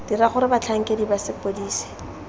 dira gore batlhankedi ba sepodisi